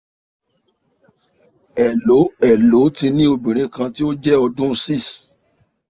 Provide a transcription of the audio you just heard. helloo helloo ti ni ọmọbinrin kan ti o jẹ ọdun six